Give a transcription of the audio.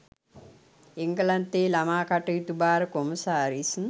එංගලන්තයේ ළමා කටයුතු භාර කොමසාරිස්